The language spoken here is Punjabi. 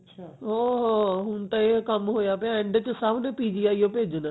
ਉਹ ਓ ਹੁਣ ਤਾ ਇਹ ਕੰਮ ਹੋਇਆ ਪਿਆ end ਚ ਸਬ ਨੂੰ PGI ਓ ਭੇਜਣਾ